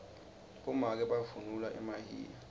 bomake bavunula emahiya